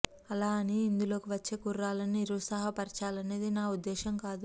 అలా అని ఇందులోకి వచ్చే కుర్రాళ్ళని నిరుత్సాహపరచాలనేది నా ఉద్దేశం కాదు